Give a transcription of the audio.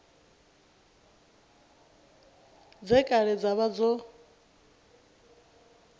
dze kale dza vha dzo